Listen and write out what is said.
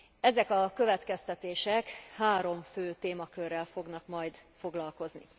Ezek a következtetések három fő témakörrel fognak majd foglalkozni.